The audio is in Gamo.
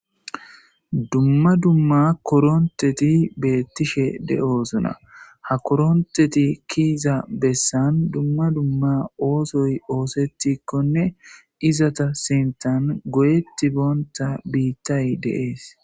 Duma duma koronteti beetishe de'osona. Ha koronteti keyiza bessan duma duma oothoy oothetikonne ezeta sinthan goyetibonta biitay de'es.